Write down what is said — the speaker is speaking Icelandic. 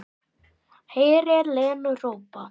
Heyrir Lenu hrópa